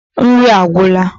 Nri agwura